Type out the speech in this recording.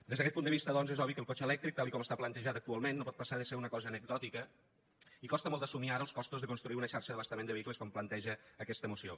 des d’aquest punt de vista doncs és obvi que lo cotxe elèctric tal com està plantejat actualment no pot passar de ser una cosa anecdòtica i costen molt d’assumir ara los costos de construir una xarxa d’abastament de vehicles com planteja aquesta moció